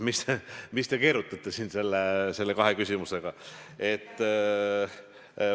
Mis te keerutate siin nende kahe küsimusega?